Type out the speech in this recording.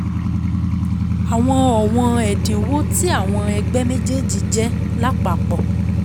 Àwọn ọ̀wọ́n ẹ̀dínwó ti àwọn ẹgbẹ́ méjéèjì jẹ́ lápapọ̀